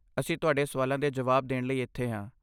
ਅਸੀਂ ਤੁਹਾਡੇ ਸਵਾਲਾਂ ਦੇ ਜਵਾਬ ਦੇਣ ਲਈ ਇੱਥੇ ਹਾਂ।